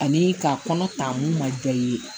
Ani ka kɔnɔ ta mun ma jɔ i ye